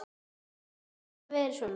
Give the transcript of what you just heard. Höfðu þau alltaf verið svona?